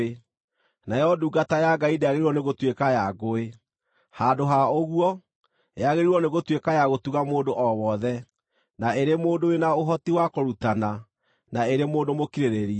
Nayo ndungata ya Ngai ndĩagĩrĩirwo nĩ gũtuĩka ya ngũĩ; handũ ha ũguo, yagĩrĩirwo nĩgũtuĩka ya gũtuga mũndũ o wothe, na ĩrĩ mũndũ wĩ na ũhoti wa kũrutana, na ĩrĩ mũndũ mũkirĩrĩria.